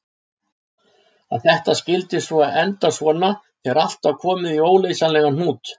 Að þetta skyldi svo enda svona þegar allt var komið í óleysanlegan hnút!